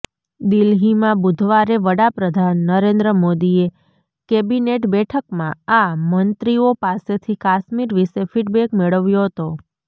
દિલ્હીમાં બુધવારે વડાપ્રધાન નરેન્દ્ર મોદીએ કેબિનેટ બેઠકમાં આ મંત્રીઓ પાસેથી કાશ્મીર વિશે ફિટબેક મેળવ્યો હતો